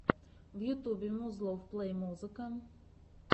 в ютубе музлов плей музыка